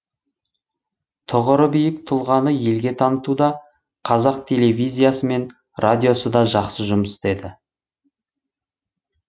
тұғыры биік тұлғаны елге танытуда қазақ телевизиясы мен радиосы да жақсы жұмыс істеді